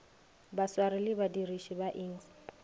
baswari le badiriši ba iks